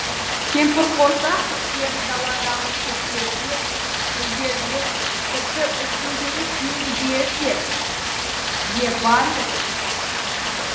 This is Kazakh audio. кемпірқосақ түстері даладағы шөптерде гүлдерде тіпті үстіңдегі киімдерде де бар еді